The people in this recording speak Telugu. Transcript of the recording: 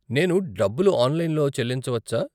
నేను డబ్బులు ఆన్లైన్లో చెల్లించవచ్చా?